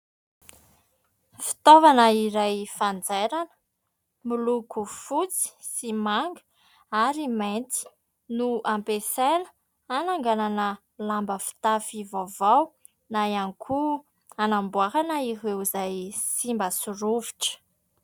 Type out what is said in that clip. Fitaovana iray fanjairana, miloko fotsy sy manga ary mainty no ampiasaina hananganana lamba fitafy vaovao na ihany koa hanamboarana ireo izay simba sy rovitra.